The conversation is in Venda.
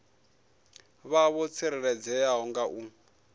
vha vho tsireledzea nga u